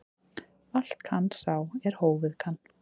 Allt kann sá er hófið kann.